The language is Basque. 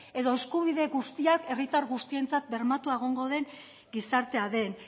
edo eskubide guztiak herritar guztientzat bermatua egongo den gizartea den